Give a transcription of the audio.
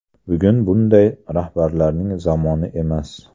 Bugun bunday rahbarlarning zamoni emas.